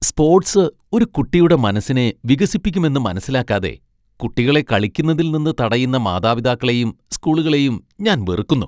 Sports ഒരു കുട്ടിയുടെ മനസ്സിനെ വികസിപ്പിക്കുമെന്ന് മനസ്സിലാക്കാതെ ,കുട്ടികളെ കളിക്കുന്നതിൽ നിന്ന് തടയുന്ന മാതാപിതാക്കളെയും സ്കൂളുകളെയും ഞാൻ വെറുക്കുന്നു.